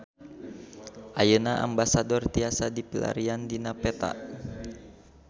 Ayeuna Ambasador tiasa dipilarian dina peta